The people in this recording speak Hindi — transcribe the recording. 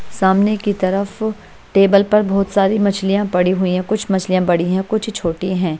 सामने की तरफ टेबल पर बहोत सारी मछलियां पड़ी हुई हैं कुछ मछलियां बड़ी है कुछ छोटी हैं।